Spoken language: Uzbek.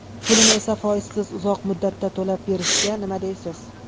Pulini esa foizsiz uzoq muddatda to‘lab berishga nima deysiz?